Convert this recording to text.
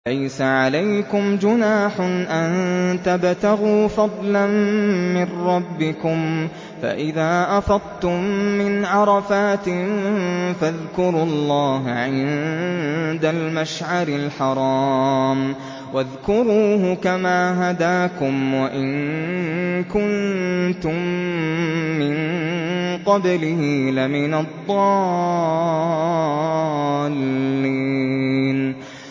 لَيْسَ عَلَيْكُمْ جُنَاحٌ أَن تَبْتَغُوا فَضْلًا مِّن رَّبِّكُمْ ۚ فَإِذَا أَفَضْتُم مِّنْ عَرَفَاتٍ فَاذْكُرُوا اللَّهَ عِندَ الْمَشْعَرِ الْحَرَامِ ۖ وَاذْكُرُوهُ كَمَا هَدَاكُمْ وَإِن كُنتُم مِّن قَبْلِهِ لَمِنَ الضَّالِّينَ